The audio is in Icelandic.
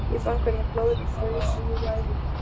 Ég fann hvernig blóðið fraus í æðum mér.